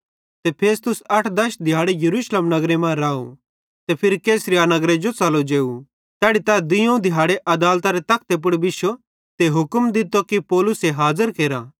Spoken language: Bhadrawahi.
ते फेस्तुस अठ दश दिहाड़े यरूशलेम नगरे मां राव ते फिरी कैसरिया नगरे जो च़लो जेव तैड़ी तै दुइयोवं दिहाड़े आदालतरी तखते पुड़ बिश्शो ते हुक्म दित्तो कि पौलुसे हाजर केरा